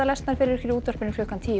eru í útvarpi klukkan tíu